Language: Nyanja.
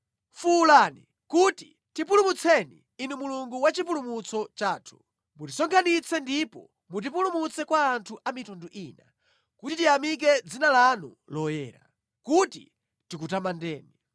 Fuwulani kuti, “Tipulumutseni, Inu Mulungu wa chipulumutso chathu, mutisonkhanitse ndipo mutipulumutse kwa anthu a mitundu ina, kuti tiyamike dzina lanu loyera, kuti tikutamandeni.”